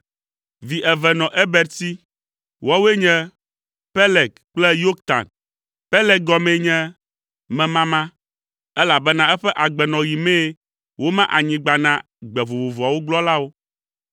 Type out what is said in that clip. Vi eve nɔ Eber si: woawoe nye Peleg kple Yoktan. Peleg gɔmee nye “Memama,” elabena eƒe agbenɔɣi mee woma anyigba na gbe vovovoawo gblɔlawo.